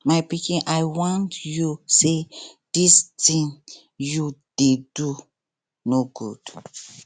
my pikin i wan you say dis thing you dey do no good